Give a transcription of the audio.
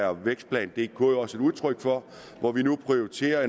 er vækstplan dk jo også et udtryk for her prioriterer